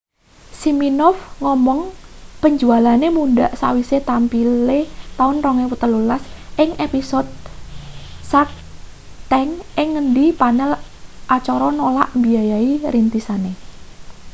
siminoff ngomong penjualane mundhak sakwise tampile taun 2013 ing episode shark tank ing ngendi panel acara nolak mbiayani rintisane